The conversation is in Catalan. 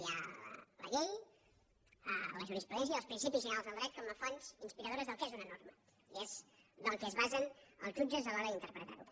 hi ha la llei la jurisprudència els principis generals del dret com a fonts inspiradores del que és una norma i és en el que es basen els jutges a l’hora d’interpretar ho